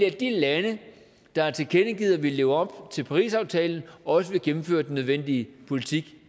at de lande der har tilkendegivet at ville leve op til parisaftalen også vil gennemføre den nødvendige politik